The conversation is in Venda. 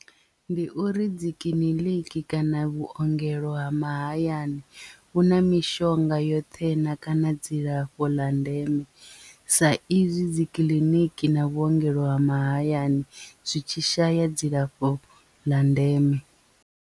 Ndi uri dzi kiḽiniki kana vhuongelo ha mahayani vhu na mishonga yoṱhe na kana dzilafho ḽa ndeme sa izwi dzi kiḽiniki na vhuongelo ha mahayani zwi tshi shaya dzilafho ḽa ndeme.